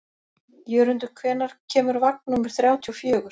Jörundur, hvenær kemur vagn númer þrjátíu og fjögur?